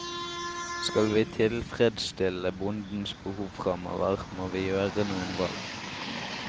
Skal vi tilfredsstille bondens behov framover, må vi gjøre noen valg.